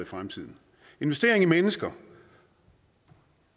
fremtiden investering i mennesker